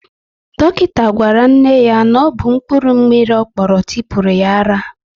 Dọkịta gwara nne ya na ọ bụ mkpụrụ mmiri ọ kpọrọ tipuru ya ara